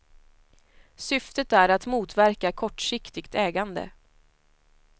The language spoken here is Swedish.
Syftet är att motverka kortsiktigt ägande.